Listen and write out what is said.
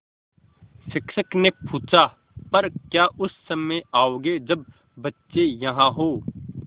शिक्षक ने पूछा पर क्या उस समय आओगे जब बच्चे यहाँ हों